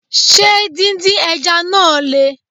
Ṣé din din Ẹja náà Le?